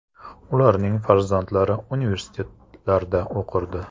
Ularning farzandlari universitetlarda o‘qirdi.